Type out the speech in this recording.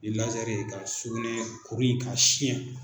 Ni ye ka sugunɛ kuru in k'a siyɛn